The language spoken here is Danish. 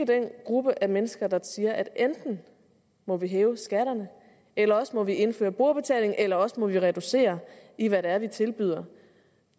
den gruppe af mennesker der siger at enten må vi hæve skatterne eller også må vi indføre brugerbetaling eller også må vi reducere i hvad det er vi tilbyder